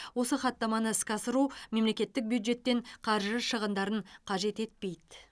осы хаттаманы іске асыру мемлекеттік бюджеттен қаржы шығындарын қажет етпейді